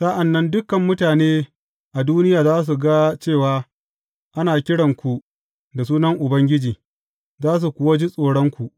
Sa’an nan dukan mutane a duniya za su ga cewa ana kiranku da sunan Ubangiji, za su kuwa ji tsoronku.